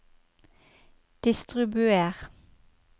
distribuer